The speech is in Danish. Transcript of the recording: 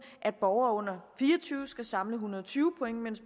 at borgere under fire og tyve år skal samle en hundrede og tyve point mens